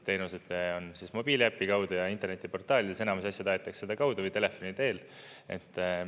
Teenused on mobiiliäpi kaudu ja internetiportaalides, enamus asju aetakse sedakaudu või telefoni teel.